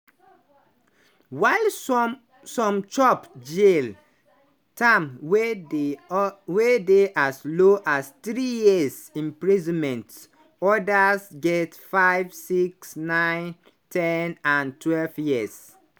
while some chop jail-term wey dey as low as three years imprisonment odas get 5 6 9 ten and twelve years.